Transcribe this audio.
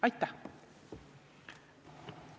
Aitäh!